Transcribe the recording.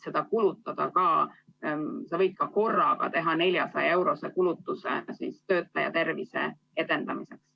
Sa võid ka korraga teha 400-eurose kulutuse töötaja tervise edendamiseks.